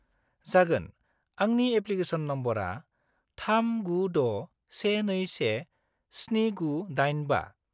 -जागोन, आंनि एप्लिकेशन नम्बरआ 396-121-7985 ।